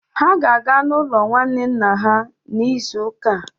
Ha ga-aga n'ụlọ nwanne nna ha n'izu ụka a.